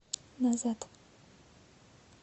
назад